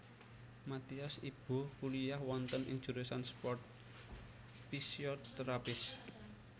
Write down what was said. Mathias Ibo kuliyah wonten ing jurusan sport physiotherapists